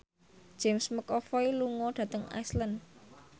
James McAvoy lunga dhateng Iceland